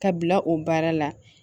Ka bila o baara la